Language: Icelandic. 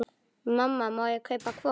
Mamma, má ég kaupa hvolp?